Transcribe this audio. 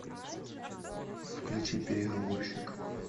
включи переговорщик